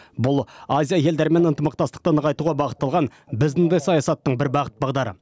бұл азия елдерімен ынтымақтастықты нығайтуға бағытталған біздің де саясаттың бір бағыт бағдары